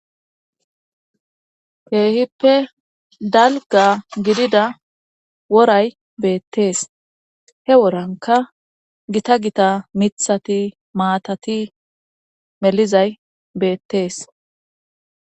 Heehippe dalga gidida woray beettees he woranka gita gita mithati maatati melizay beettees.